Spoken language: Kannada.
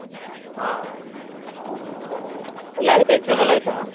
ಹಾ ಎಲ್ಲ ಆಯ್ತಾ exam ಎಲ್ಲ ಆಯ್ತಾ.